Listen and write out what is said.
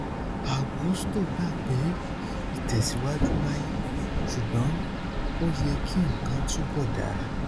agusto gbà pé ìtẹsíwájú wáyé ṣùgbọn ó yẹ kí nǹkan túbọ dara